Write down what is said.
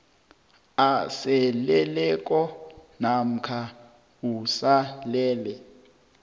aseleleko namkha usalele